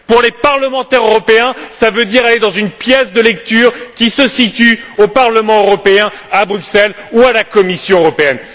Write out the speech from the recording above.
Pour les parlementaires européens, cela veut dire aller dans une pièce de lecture qui se situe au Parlement européen à Bruxelles ou à la Commission européenne.